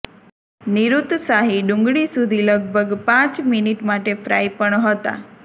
નિરુત્સાહિત ડુંગળી સુધી લગભગ પાંચ મિનિટ માટે ફ્રાય પણ હતા